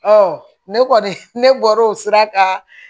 ne kɔni ne bɔr'o sira kan